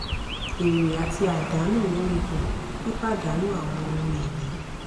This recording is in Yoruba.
èrè àti àdánù lórí um pípàdànù àwọn ohun ìní